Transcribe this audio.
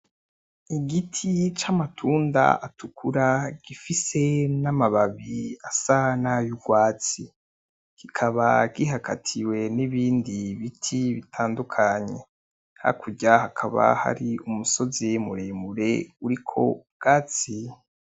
Igiti c'amatunda atukura gifise n'amababi asa nay'urwatsi ,kikaba gihagatiwe n'ibindi biti bitandukanye, hakurya hakaba hari umusozi muremure uriko ubwatsi.